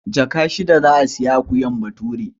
Jaka shida za a sayi akuyar Bature.